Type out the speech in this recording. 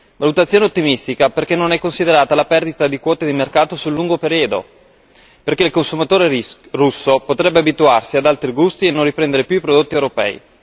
Valutazione ottimistica perché non è considerata la perdita di quote di mercato sul lungo periodo, perché il consumatore russo potrebbe abituarsi ad altri gusti e non riprendere più i prodotti europei.